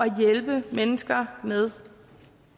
hjælpe mennesker med